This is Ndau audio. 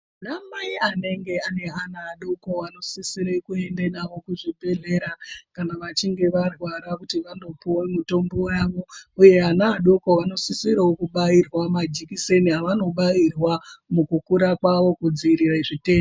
Anamai anenge aneana vadoko anosisire kuende navo kuzvibhehlera kana vachinge varwara vanopuwe mutombo wavo uye vana vadoko vanosisire kubairwa majekiseni avanobairwa mukukura kwavo kudzivirire zvitenda.